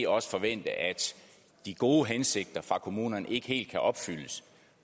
også forvente at de gode hensigter fra kommunernes side ikke helt kan opfyldes